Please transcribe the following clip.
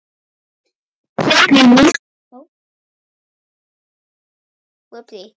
Hverju vilt þú breyta?